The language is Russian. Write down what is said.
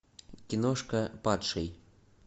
киношка падший